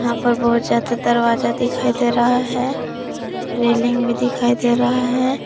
यहां पर बहुत ज्यादा दरवाजा दिखाई दे रहा है रेलिंग भी दिखाई दे रहा है।